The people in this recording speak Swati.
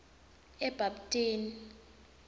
ebapthini